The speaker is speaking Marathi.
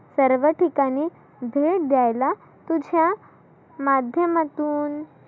सर्व ठिकाणी दिर द्यायला तुझ्या माध्यमातुन